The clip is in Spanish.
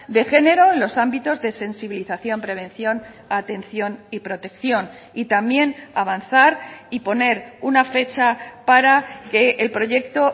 de género en los ámbitos de sensibilización prevención atención y protección y también avanzar y poner una fecha para que el proyecto